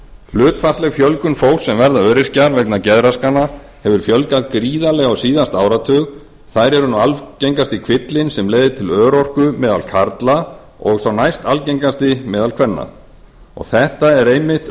hlutfallsleg fjölgun fólks sem verður öryrkjar vegna geðraskana hefur aukist gríðarlega á síðasta áratug þær eru nú algengasti kvillinn sem leiðir til örorku meðal karla og sá næstalgengasti meðal kvenna þetta er einmitt